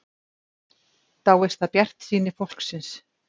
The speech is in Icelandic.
Dáist að bjartsýni fólksins